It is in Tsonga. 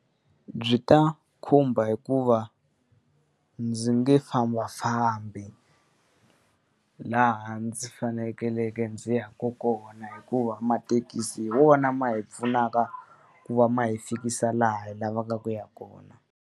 Byi ta khumba hikuva ndzi nge fambafambi laha ndzi fanekeleke ndzi yaka kona hikuva mathekisi hi wona ma hi pfunaka ku va ma hi fikisa laha hi lavaka ku ya kona.